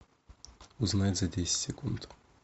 узнать за десять секунд